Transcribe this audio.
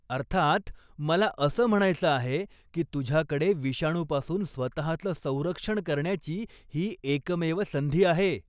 अर्थात, मला असं म्हणायचं आहे की तुझ्याकडे विषाणूपासून स्वतःचं संरक्षण करण्याची ही एकमेव संधी आहे.